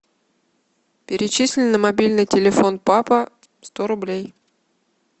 перечисли на мобильный телефон папа сто рублей